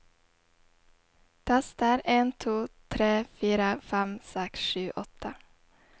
Tester en to tre fire fem seks sju åtte